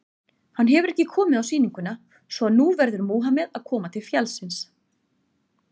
Hann hefur ekki komið á sýninguna, svo að nú verður Múhameð að koma til fjallsins.